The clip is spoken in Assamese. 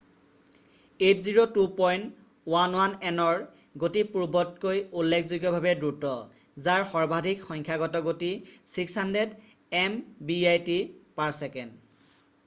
802.11nৰ গতি পূৰ্বতকৈ উল্লেখযোগ্যভাৱে দ্ৰুত যাৰ সৰ্বাধিক সংখ্যাগত গতি 600mbit/s